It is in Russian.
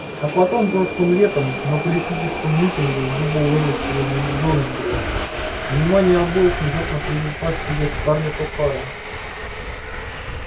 а потом прошлым летом на политическом митинге в дубовой роще возле джонсборо внимание обоих внезапно привлекла к себе скарлетт охара